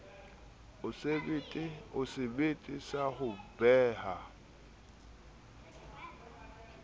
o sebete sa ho beha